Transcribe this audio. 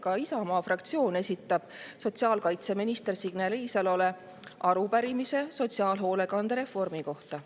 Ka Isamaa fraktsioon esitab sotsiaalkaitseminister Signe Riisalole arupärimise sotsiaalhoolekande reformi kohta.